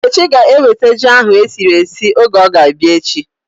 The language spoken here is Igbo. Nkechi ga eweta ji ahu esiri esi oge ọ ga-abịa echi